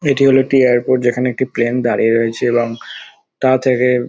এটি হলো একটি এয়ারপোর্ট যেখানে একটি প্লেন দাঁড়িয়ে রয়েছে এবং তা থেকে--